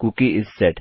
cookie is set